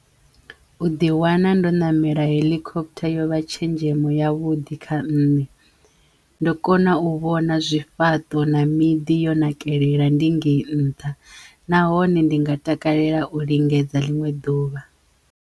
U ḓi wana ndo ṋamela heḽikophotha yo vha tshenzhemo ya vhuḓi kha nne ndo kona u vhona zwifhaṱo na miḓi yo nakelela ndi ngeyi nṱha nahone ndi nga takalela u lingedza ḽiṅwe ḓuvha.